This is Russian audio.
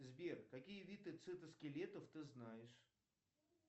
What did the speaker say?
сбер какие виды цитоскелетов ты знаешь